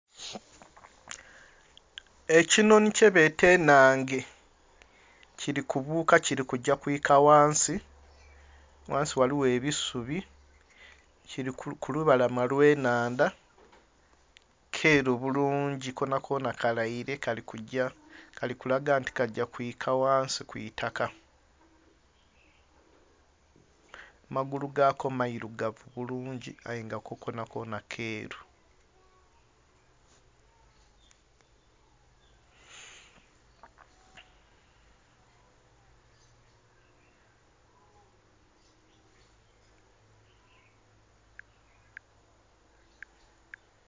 Ekinhonhi kyebeeta ennhange kiri kubuuka kiri kuja kwika ghansi , ghansi ghaliwo ebisubi kiri kulubalama olwe enhandha kyeru bulungi konakona kalaire kali kuja kali kulaga nga kaja kwika ghansi kwitaka amagulu gaako mairugavu bulungi aye nga kko konakona keeru